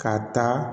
Ka taa